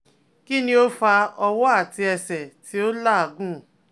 Kini o fa ọwọ ati ẹsẹ ti o lagun?